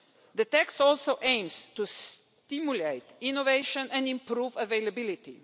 The text also aims to the stimulate innovation and improve availability.